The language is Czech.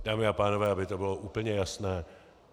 Dámy a pánové, aby to bylo úplně jasné.